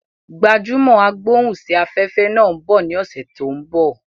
Gbajúmò agbóhùn sí afẹ́fẹ́ náà ń bọ ní ọ̀sẹ̀ tó ń bọ̀